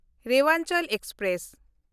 Rewanchal express